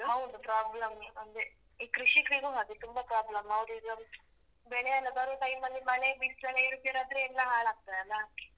ಹೌದು problem ಅದೆ. ಈ ಕೃಷಿಕ್ರಿಗೂ ಹಾಗೆ ತುಂಬಾ problem ಅವ್ರಿಗೂ ಬೆಳೆ ಎಲ್ಲಾ ಬರೋ time ಲಿ ಮಳೆ ಬಿಸ್ಲೆಲ್ಲ ಏರುಪೇರಾದ್ರೆ ಎಲ್ಲಾ ಹಾಳಾಗ್ತಾದಲ್ಲಾ.